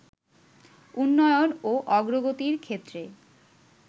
উন্নয়ন ও অগ্রগতির ক্ষেত্রে